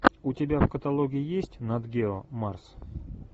у тебя в каталоге есть нат гео марс